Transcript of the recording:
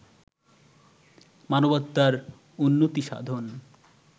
মানবাত্মার উন্নতি সাধন